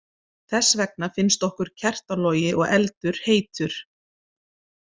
Þess vegna finnst okkur kertalogi og eldur heitur.